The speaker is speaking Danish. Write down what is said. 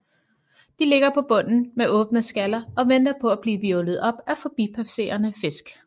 De ligger på bunden med åbne skaller og venter på at blive hvirvlet op af forbipasserende fisk